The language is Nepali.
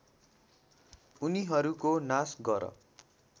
उनीहरूको नाश गर